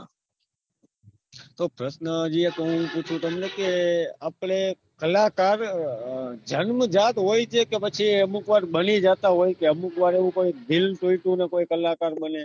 તો પ્રશ્ન હજી એક પુછુ તમને કે આપડે કલાકાર જન્મ જાત હોય છે કે પછી અમુક વાર બની જતા હોય છે અમુક વાર દિલ તૂટે ને કલાકાર બને